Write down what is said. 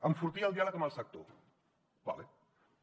enfortir el diàleg amb el sector d’acord